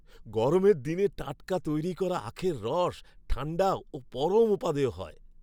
গরমের দিনে টাটকা তৈরি করা আখের রস ঠাণ্ডা ও পরম উপাদেয় হয়।